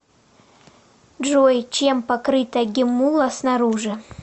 джой чем покрыта геммула снаружи